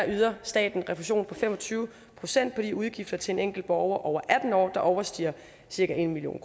yder staten fem og tyve procent i de udgifter til en enkelt borger over atten år der overstiger cirka en million